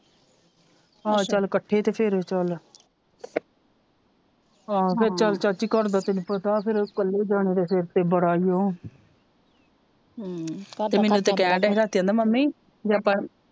ਆਹੋ ਚਲ ਇਕੱਠੇ ਤੇ ਫਿਰ ਚਲ ਫਿਰ ਚਲ ਚਾਚੀ ਘਰ ਦਾ ਤੈਨੂੰ ਪਤਾ ਫਿਰ ਇਕਲੇ ਜਾਣੇ ਦੇ ਸਿਰ ਤੇ ਬੜਾ ਈਓ ਮੈਨੂੰ ਤੇ ਕਹਿਣ ਦਿਆ ਹੀ ਰਾਤੀ ਮੰਮੀ ਜੇ ਆਪਾ